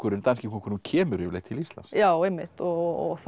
danski kóngurinn kemur yfirleitt til Íslands já einmitt og þá